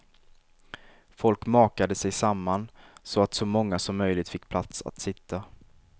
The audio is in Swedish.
Folk makade sig samman, så att så många som möjligt fick plats att sitta.